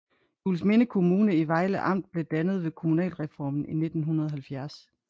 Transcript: Juelsminde Kommune i Vejle Amt blev dannet ved kommunalreformen i 1970